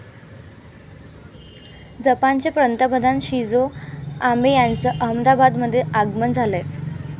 जपानचे पंतप्रधान Shinzo Abe यांचं अहमदाबादमध्ये आगमन झालंय.